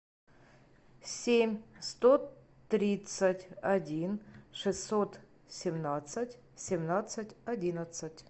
семь сто тридцать один шестьсот семнадцать семнадцать одиннадцать